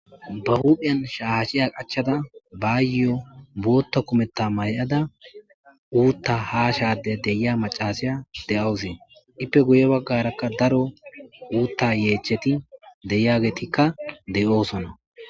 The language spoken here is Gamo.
Ba hupheyan shaashiya qachada baayyo bootta kumetta may7ada uutta haa shade deyia macasiya de7awusee ippe guye baggarakka daro uutta yeecheti deyageetikka de7oosona